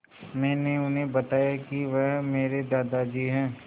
मैंने उन्हें बताया कि वह मेरे दादाजी हैं